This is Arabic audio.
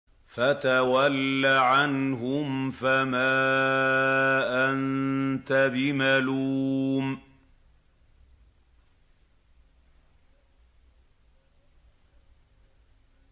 فَتَوَلَّ عَنْهُمْ فَمَا أَنتَ بِمَلُومٍ